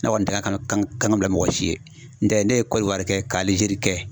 Ne kɔni tɛ an kana kan ka bila mɔgɔ si ye, n tɛ ne ye kɔlɔwari kɛ ka Alijer kɛ